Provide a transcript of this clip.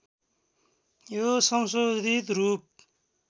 यो संशोधित रूप